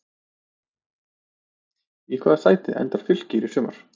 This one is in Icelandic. Í hvaða sæti endar Fylkir í sumar?